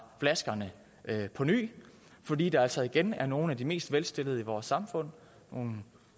flaskerne påny fordi der altså igen er nogle af de mest velstillede i vores samfund